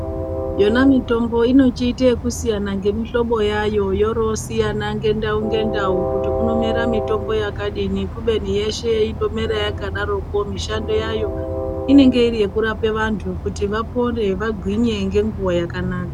Yona mitombo inochiite ekusiyana ngemihlobo yayo yorosiyana ngendau ngendau kuti kunomera mitombo yakadini kubeni yeshe inomera yakadoroko mishando yayo inenge iri yekurape vantu kuti vapore, vagwinye ngenguwa yakanaka.